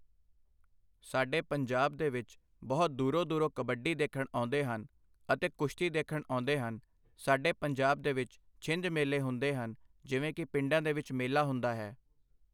ਸਾਡੇ ਪੰਜਾਬ ਦੇ ਵਿੱਚ ਬਹੁਤ ਦੂਰੋਂ ਦੂਰੋਂ ਕਬੱਡੀ ਦੇਖਣ ਆਉਂਦੇ ਹਨ ਅਤੇ ਕੁਸ਼ਤੀ ਦੇਖਣ ਆਉਂਦੇ ਹਨ ਸਾਡੇ ਪੰਜਾਬ ਦੇ ਵਿੱਚ ਛਿੰਝ ਮੇਲੇ ਹੁੰਦੇ ਹਨ ਜਿਵੇਂ ਕਿ ਪਿੰਡਾਂ ਦੇ ਵਿੱਚ ਮੇਲਾ ਹੁੰਦਾ ਹੈ।